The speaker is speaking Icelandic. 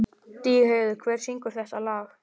Stígheiður, hver syngur þetta lag?